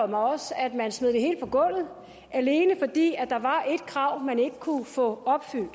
mig også at man smed det hele på gulvet alene fordi der var et krav man ikke kunne få opfyldt